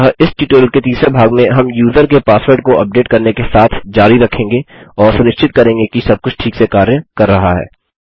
अतः इस ट्यूटोरियल के तीसरे भाग में हम यूजर के पासवर्ड को उपडेट करने के साथ जारी रखेंगे और सुनिश्चित करेंगे कि सबकुछ ठीक से कार्य कर रहा है